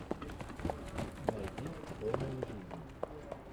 найди формула жизни